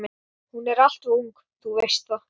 Hún er alltof ung, þú veist það.